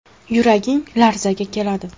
Yuraging larzaga keladi.